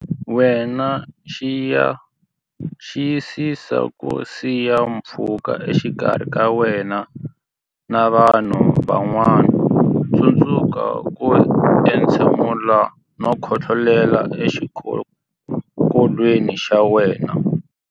Wena Xiyisisa ku siya pfhuka exikarhi ka wena na vanhu van'wana Tsundzuka ku entshemula na ku khohlolela exikokolweni xa wena.